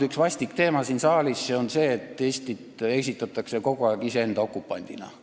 Üks vastik teema siin saalis on olnud see, et Eestit esitatakse kogu aeg iseenda okupandina.